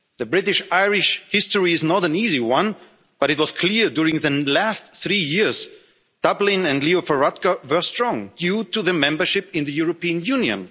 The British Irish history is not an easy one, but it was clear during the last three years Dublin and Leo Varadkar were strong due to the membership in the European Union.